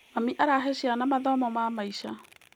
Mami arahe ciana mathomo ma maica.